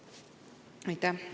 Aitäh!